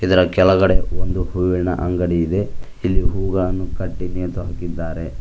ಇದರ ಕೆಳಗಡೆ ಒಂದು ಹೂವಿನ ಅಂಗಡಿ ಇದೆ ಇಲ್ಲಿ ಹೂಗಳನ್ನು ಕಟ್ಟಿ ನೇತಾಕಿದ್ದಾರೆ.